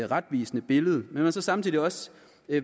retvisende billede men man er så samtidig også